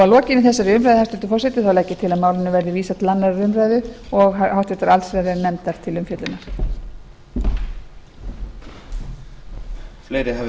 lokinni þessari umræðu hæstvirtur forseti legg ég til að málinu verði vísað til annarrar umræðu og háttvirtrar allsherjarnefndar til umfjöllunar